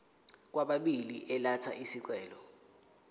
kwababili elatha isicelo